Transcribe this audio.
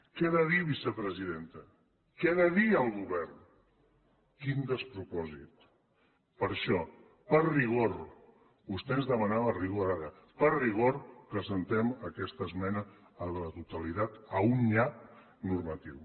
què ha de dir vicepresidenta què ha de dir el govern quin despropòsit per això per rigor vostè ens demanava rigor ara per rigor presentem aquesta esmena a la totalitat a un nyap normatiu